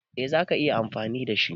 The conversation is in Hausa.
Eh za ka iya amfani da shi.